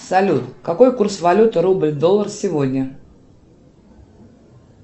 салют какой курс валюты рубль доллар сегодня